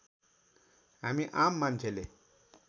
हामी आम मान्छेले